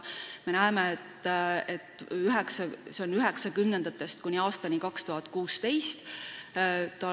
See graafik näitab seda kordajat 1990. aastatest kuni aastani 2016.